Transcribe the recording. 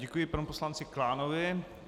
Děkuji panu poslanci Klánovi.